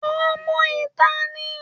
Ọmọ ìta ní